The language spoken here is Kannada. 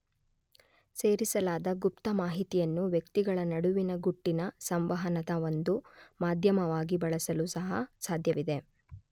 ಸೇರಿಸಲಾದ ಗುಪ್ತ ಮಾಹಿತಿಯನ್ನು ವ್ಯಕ್ತಿಗಳ ನಡುವಿನ ಗುಟ್ಟಿನ ಸಂವಹನದ ಒಂದು ಮಾಧ್ಯಮವಾಗಿ ಬಳಸಲೂ ಸಹ ಸಾಧ್ಯವಿದೆ.